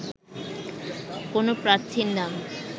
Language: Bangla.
কোনো প্রার্থীর নাম